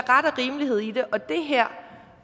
ret og rimelighed i det